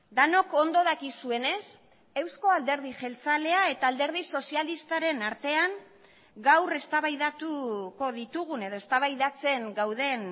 denok ondo dakizuenez euzko alderdi jeltzalea eta alderdi sozialistaren artean gaur eztabaidatuko ditugun edo eztabaidatzen gauden